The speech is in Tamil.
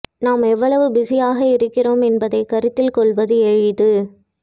நாம் எவ்வளவு பிஸியாக இருக்கிறோம் என்பதை கருத்தில் கொள்வது எளிது